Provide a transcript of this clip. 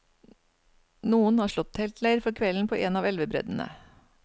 Noen har slått teltleir for kvelden på en av elvebreddene.